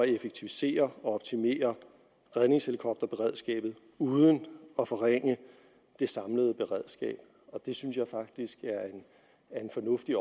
effektivisere og optimere redningshelikopterberedskabet uden at forringe det samlede beredskab det synes jeg faktisk er en fornuftig